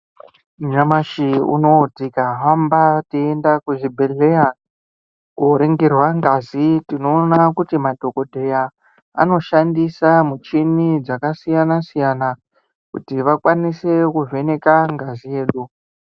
Nyamashi unouyu tikahamba teienda kuzvibhedhleya koringirwa ngazi. Tinoona kuti madhogodheya anoshandisa mushini dzakasiyana-siyana, kuti vashandise kuvheneka ngazi yedu.